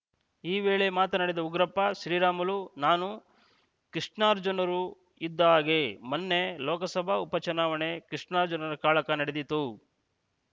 ಈ ವೇಳೆ ಮಾತನಾಡಿದ ಉಗ್ರಪ್ಪ ಶ್ರೀರಾಮುಲು ನಾನು ಕೃಷ್ಣಾರ್ಜುನರು ಇದ್ದ ಹಾಗೆ ಮೊನ್ನೆ ಲೋಕಸಭಾ ಉಪ ಚುನಾವಣೆ ಕೃಷ್ಣಾರ್ಜುನರ ಕಾಳಕ ನಡೆದಿತು